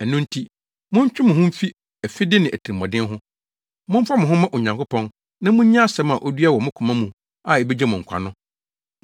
Ɛno nti, montwe mo ho mfi afide ne atirimɔden ho. Momfa mo ho mma Onyankopɔn na munnye asɛm a odua wɔ mo koma mu a ebegye mo nkwa no.